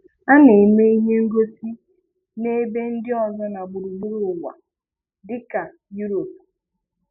A na-eme ihe ngosi n'ebe ndi ọzọ na gburugburu ụwa, dị ka Europe.